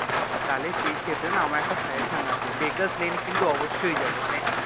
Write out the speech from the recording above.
তাহলে সেই ক্ষেত্রে না আমার একটা suggestion আছে bakers lane কিন্তু অবশ্যই যাবো মানে